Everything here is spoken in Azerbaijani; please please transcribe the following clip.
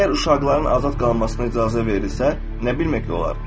Əgər uşaqların azad qalmasına icazə verilirsə, nə bilmək olar?